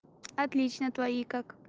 отлично твои как